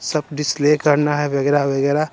सब करना है वगैरह वगैरह।